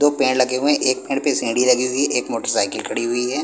दो पेड़ लगे हुए हैं एक पेड़ पे सीढ़ी लगी हुई है एक मोटरसाइकिल खड़ी हुई है।